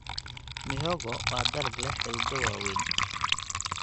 Mihogo waa dalag leh xididdo waaweyn.